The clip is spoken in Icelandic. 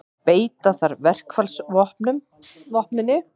Beita þarf verkfallsvopninu